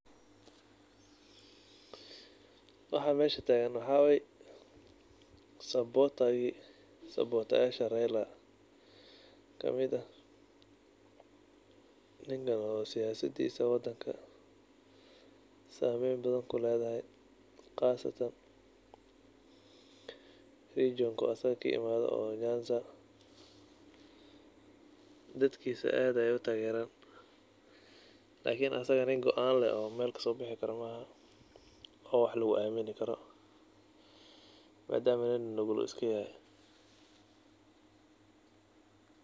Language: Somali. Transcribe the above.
Waxa meeshan tagan waxaye supporter taki support yasha raayla, kamit ah inbathan seyasdeesa wadanga sameen bathan kuuleedahay qaasatan region jonka asgabka imathay oo nyanzaa dadkisa aad Aya u tageeran lakini asaga nin gooan leeh oo meel kasibixi karoh maaha oo wax lagu amini karoh madama nin nuugul iskayahaa .